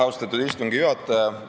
Austatud istungi juhataja!